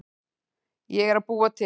Ég er að búa til.